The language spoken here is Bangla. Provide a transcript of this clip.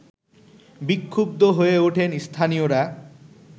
বিক্ষুদ্ধ হয়ে ওঠেন স্থানীয়রা